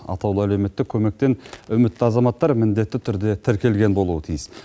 атаулы әлеуметтік көмектен үмітті азаматтар міндетті түрде тіркелген болуы тиіс